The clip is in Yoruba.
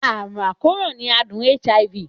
Àrùn àkóràn ni àádùn HIV.